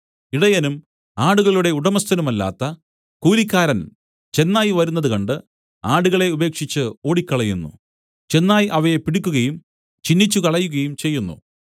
ഇടയനും ആടുകളുടെ ഉടമസ്ഥനുമല്ലാത്ത കൂലിക്കാരൻ ചെന്നായ് വരുന്നത് കണ്ട് ആടുകളെ ഉപേക്ഷിച്ച് ഓടിക്കളയുന്നു ചെന്നായ് അവയെ പിടിക്കയും ചിന്നിച്ചുകളകയും ചെയ്യുന്നു